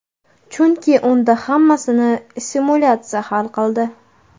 Chunki unda hammasini simulyatsiya hal qildi.